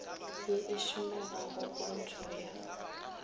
ye e šomegago pntšho ya